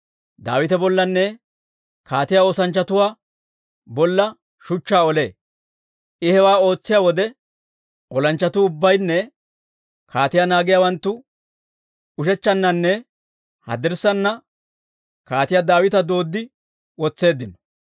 Daawita bollanne kaatiyaa oosanchchatuu bolla shuchchaa olee; I hewaa ootsiyaa wode, olanchchatuu ubbaynne kaatiyaa naagiyaawanttu ushechchannanne haddirssaana kaatiyaa Daawita dooddi wotseeddino.